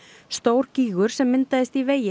stór gígur sem myndaðist í vegi